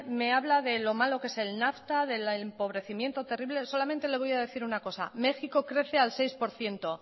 me habla de lo malo que es el nafta del empobrecimiento terrible solamente le voy a decir una cosa méxico crece al seis por ciento